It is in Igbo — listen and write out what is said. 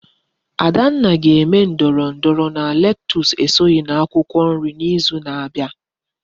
Adanna ga eme ndoro ndoro na lettuce esoghi na akwukwo nri na izu na abia